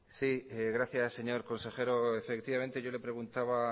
sí gracias señor consejero efectivamente yo le preguntaba